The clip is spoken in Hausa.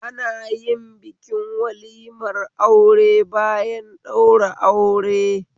Anayin bikin walimar aure bayan ɗaura aure